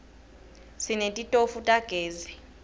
sinetitofu tagezi